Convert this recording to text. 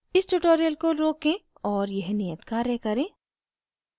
इस tutorial को रोकें और यह नियत कार्य करें